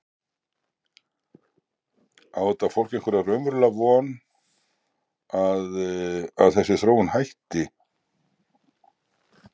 Á þetta fólk einhverja raunverulega von að, að þessi þróun hún hætti?